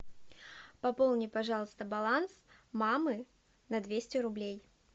пополни пожалуйста баланс мамы на двести рублей